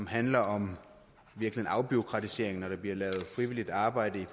handler om afbureaukratisering når der bliver lavet frivilligt arbejde i